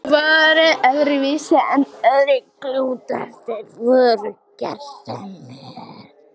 Og voru öðruvísi en aðrir klútar, þeir voru gersemi.